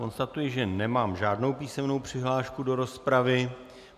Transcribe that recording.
Konstatuji, že nemám žádnou písemnou přihlášku do rozpravy.